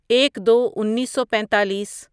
ایک دو انیسو پیتالیس